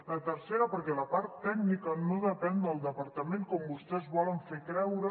el tercer perquè la part tècnica no depèn del departament com vostès volen fer creure